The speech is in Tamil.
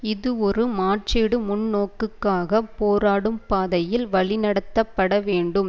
இது ஒரு மாற்றீடு முன்நோக்குக்காகப் போராடும் பாதையில் வழி நடத்தப்பட வேண்டும்